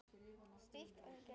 Slíkt gæti líka reynst flókið.